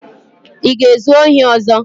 Ị ga-ezu ohi ọzọ?